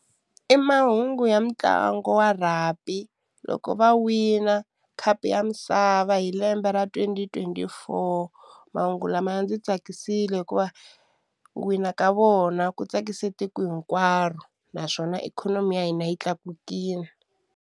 I mahungu ya mitlangu wa rugby loko va wina khapu ya misava hi lembe ra twenty twenty four mahungu lama ya ndzi tsakisile hikuva ku wina ka vona ku tsakise tiko hinkwaro naswona ikhonomi ya hina yi tlakukile.